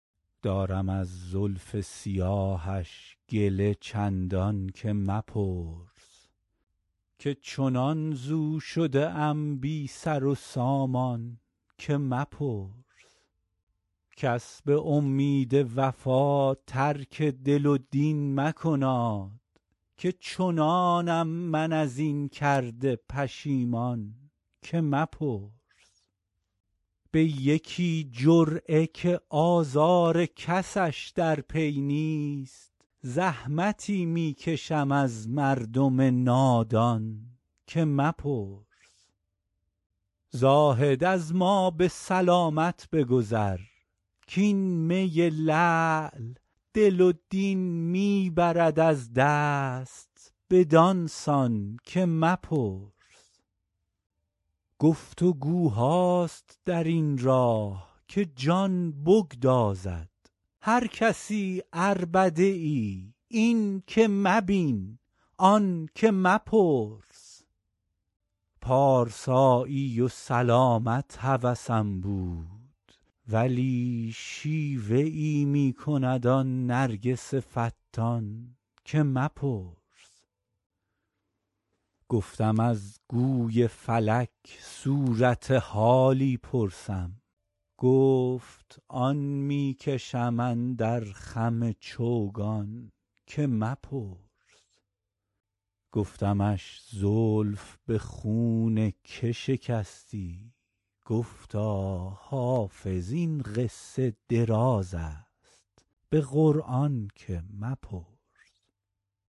دارم از زلف سیاهش گله چندان که مپرس که چنان ز او شده ام بی سر و سامان که مپرس کس به امید وفا ترک دل و دین مکناد که چنانم من از این کرده پشیمان که مپرس به یکی جرعه که آزار کسش در پی نیست زحمتی می کشم از مردم نادان که مپرس زاهد از ما به سلامت بگذر کـ این می لعل دل و دین می برد از دست بدان سان که مپرس گفت وگوهاست در این راه که جان بگدازد هر کسی عربده ای این که مبین آن که مپرس پارسایی و سلامت هوسم بود ولی شیوه ای می کند آن نرگس فتان که مپرس گفتم از گوی فلک صورت حالی پرسم گفت آن می کشم اندر خم چوگان که مپرس گفتمش زلف به خون که شکستی گفتا حافظ این قصه دراز است به قرآن که مپرس